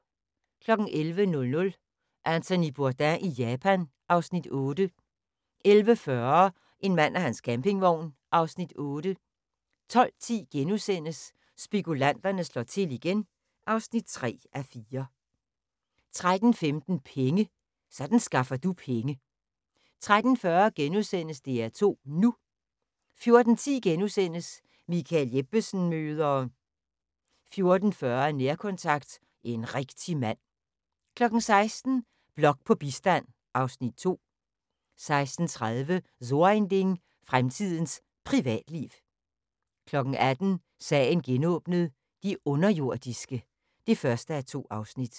11:00: Anthony Bourdain i Japan (Afs. 8) 11:40: En mand og hans campingvogn (Afs. 8) 12:10: Spekulanterne slår til igen (3:4)* 13:15: Penge: Sådan skaffer du penge 13:40: DR2 NU * 14:10: Michael Jeppesen møder ...* 14:40: Nærkontakt – En rigtig mand 16:00: Blok på bistand (Afs. 2) 16:30: So ein Ding: Fremtidens Privatliv 18:00: Sagen genåbnet: De underjordiske (1:2)